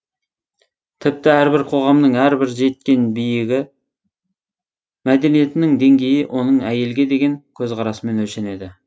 тіпті әрбір қоғамның әрбір жеткен биігі мәдениетінің деңгейі оның әйелге деген көзқарасымен өлшенеді